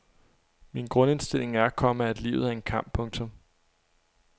Min grundindstilling er, komma at livet er en kamp. punktum